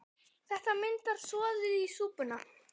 Þetta myndar soðið í súpuna.